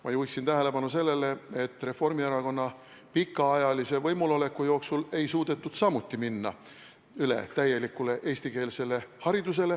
Ma juhiksin tähelepanu sellele, et Reformierakonna pikaajalise võimul oleku jooksul ei suudetud samuti minna üle täielikule eestikeelsele haridusele.